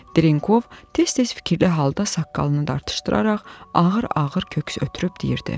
Drenkov tez-tez fikirli halda saqqalını dartışdıraraq ağır-ağır köks ötürüb deyirdi.